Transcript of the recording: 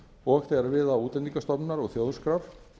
og þegar við á útlendingastofnunar og þjóðskrár